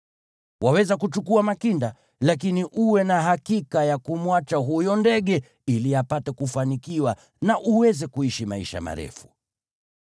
Waweza kuchukua makinda, lakini uwe na hakika ya kumwacha huyo ndege, ili upate kufanikiwa na uweze kuishi maisha marefu.